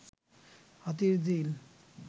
Hatirjheel